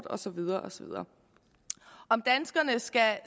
og så videre og så videre skal